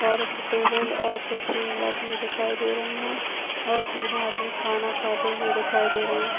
और टेबल और कुर्सी लगी हुई दिखाई दे रही है और तीनो आदमी खाना खाते हुए दिखाई दे रहे है।